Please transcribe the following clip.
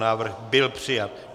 Návrh byl přijat.